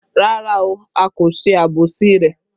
Rárá o, a kò ṣe àbòsí rẹ